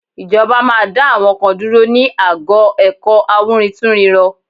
Ìjọba máa dá àwọn kan dúró ní ago ẹ̀kọ́ awúrintúnrinrọ